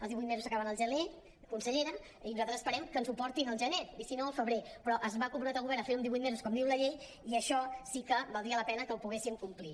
els divuit mesos s’acaben al gener conselle·ra i nosaltres esperem que ens ho portin al gener i si no al febrer però es va com·prometre el govern a fer·ho en divuit mesos com diu la llei i això sí que valdria la pena que ho poguéssim complir